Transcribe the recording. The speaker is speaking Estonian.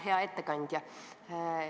Hea ettekandja!